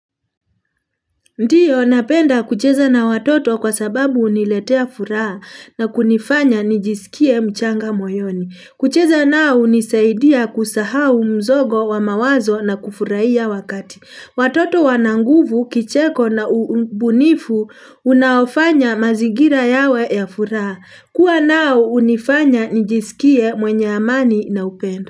Ndiyo, napenda kucheza na watoto kwa sababu uniletea furaha na kunifanya nijisikie mchanga moyoni. Kucheza nao unisaidia kusahau mzogo wa mawazo na kufurahia wakati. Watoto wana nguvu, kicheko na ubunifu, unaofanya mazingira yawe ya furaha. Kua nao hunifanya nijisikie mwenye amani na upendo.